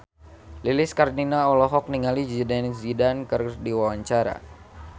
Lilis Karlina olohok ningali Zidane Zidane keur diwawancara